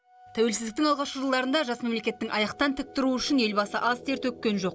тәуелсіздіктің алғашқы жылдарында жас мемлекеттің аяқтан тік тұруы үшін елбасы аз тер төккен жоқ